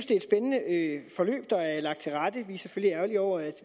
det er et spændende forløb der er lagt til rette vi er selvfølgelig ærgerlige over at